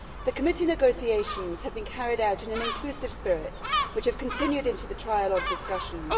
The committee negotiations have been carried out in an inclusive spirit which has continued into the trialogue discussions.